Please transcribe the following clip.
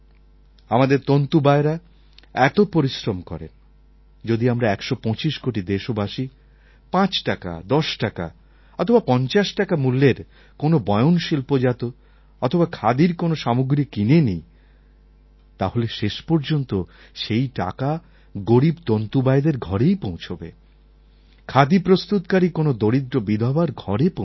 আমাদের তন্তুবায়রা এত পরিশ্রম করেন যদি আমরা ১২৫ কোটি দেশবাসী ৫ টাকা ১০ টাকা অথবা ৫০ টাকা মূল্যের কোন বয়নশিল্পজাত অথবা খাদির কোন সামগ্রী কিনে নিই তাহলে শেষ পর্যন্ত সেই টাকা গরীব তন্তুবায়দের ঘরেই পৌঁছবে খাদি প্রস্তুতকারী কোন দরিদ্র বিধবার ঘরে পৌঁছবে